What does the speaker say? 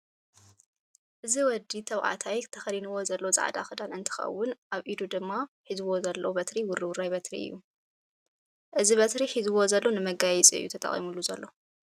እዚ ወዲ ተባዕታይ ተከዲንዎ ዘሎ ፃዕዳ ክዳን እንትከውን ኣብ ኡዱ ድማ ሕዝዎ ዘሎ በትሪ ድማ ውርውራይ በትሪ እዩ። እዚ በትሪ ሕዝዎ ዘሎ ንመጋየፂ እዩ ተጠቅሚሉ ዘሎ።